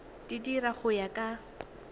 di dira go ya ka